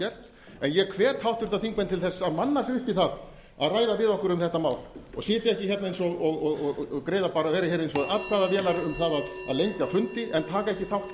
en ég hvet háttvirtir þingmenn til að manna sig upp í það að ræða við okkur um þetta mál og sitja ekki og vera hérna eins og atkvæðavélar um það að lengja fundi en taka ekki þátt